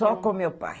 Só com o meu pai.